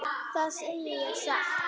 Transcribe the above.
Það segi ég satt.